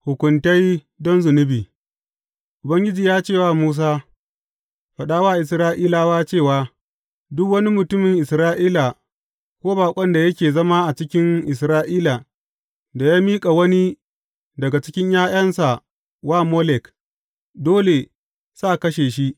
Hukuntai don zunubi Ubangiji ya ce wa Musa, Faɗa wa Isra’ilawa cewa, Duk wani mutumin Isra’ila ko baƙon da yake zama a cikin Isra’ila da ya miƙa wani daga cikin ’ya’yansa wa Molek, dole sa kashe shi.